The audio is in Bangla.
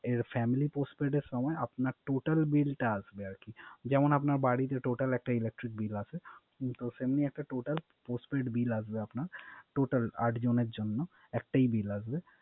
এ Family postpaid এর সময় আপনার Total bill টা আসবে আরকি। যেমন আপনার Total একটা Electric Bill আসবে। সেমনি আপনার একটা Postpaid বিল আসবে আপনার Total আট জনের জন্য